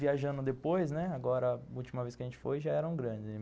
Viajando depois, né, a última vez que a gente foi já era um grande.